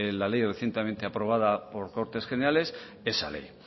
la ley recientemente aprobada por cortes generales esa ley